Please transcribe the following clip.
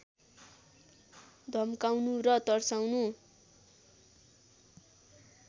धम्काउनु र तर्साउनु